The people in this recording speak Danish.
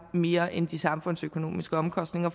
mere end de samfundsøkonomiske omkostninger